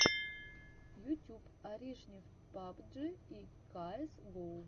ютюб аришнев пабджи и каэс гоу